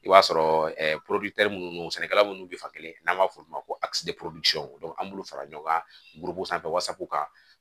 I b'a sɔrɔ minnu sɛnɛkɛla minnu bɛ fan kelen n'an b'a fɔ olu ma ko an b'olu fara ɲɔgɔn kan buruburu sanfɛ wasapu kan